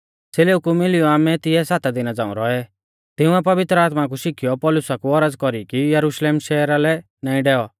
च़ेलेऊ कु मिलियौ आमै तिऐ सात दिना झ़ांऊ रौऐ तिंउऐ पवित्र आत्मा कु शिखीयौ पौलुसा कु औरज़ कौरी कि यरुशलेम शहरा लै नाईं डैऔ